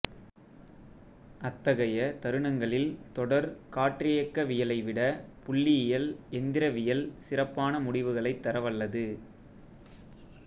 அத்தகைய தருணங்களில் தொடர் காற்றியக்கவியலைவிட புள்ளியியல் எந்திரவியல் சிறப்பான முடிவுகளைத் தரவல்லது